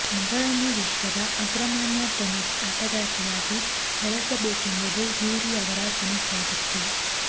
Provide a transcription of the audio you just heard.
ಮಗಳನ್ನು ವಿಶ್ವದ ಅಗ್ರಮಾನ್ಯ ಟೆನಿಸ್ ಆಟಗಾರ್ತಿಯಾಗಿ ಬೆಳೆಸಬೇಕೆಂಬುದು ಯೂರಿ ಅವರ ಕನಸಾಗಿತ್ತು